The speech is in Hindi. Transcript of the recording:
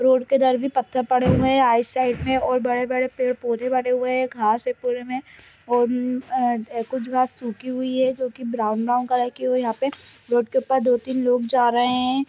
रोड के दर भी पत्थर पड़े हुए है आई साइक मे और बड़े-बड़े पेड़ पौधे बने हुए है घास है पूरे मैं और कुछ घास सुखी हुई है जो की ब्राउन ब्राउन कलर यहाँ पे रोड के ऊपर दो-तीन लोग जा रहे है।